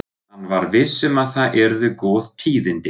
Hann var viss um að það yrðu góð tíðindi.